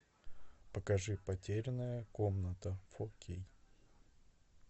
покажи потерянная комната фо кей